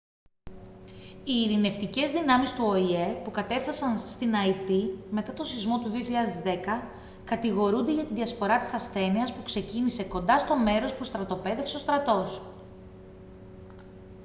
οι ειρηνευτικές δυνάμεις του οηε που κατέφθασαν στην αϊτή μετά τον σεισμό του 2010 κατηγορούνται για τη διασπορά της ασθένειας που ξεκίνησε κοντά στο μέρος που στρατοπέδευσε ο στρατός